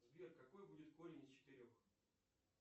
сбер какой будет корень из четырех